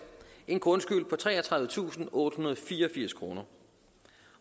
en grundskyld på treogtredivetusinde og ottehundrede og fireogfirs kroner